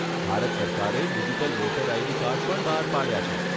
ભારત સરકારે digital voter ID card પણ બહાર પાડ્યા છે.